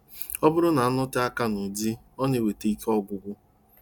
Ọ bụrụ na-anọte aka n'ụdị ọ na-eweta ike ọgwụgwụ.